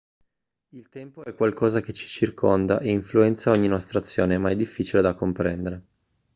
il tempo è qualcosa che ci circonda e influenza ogni nostra azione ma è difficile da comprendere